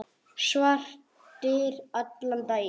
Svartir allan daginn.